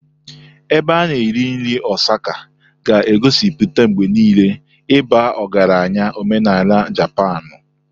Ebe a na-eri nri Osaka ga-egosipụta mgbe niile ịba ọgaranya omenala Japanu.